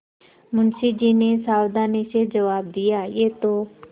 मुंशी जी ने सावधानी से जवाब दियायह तो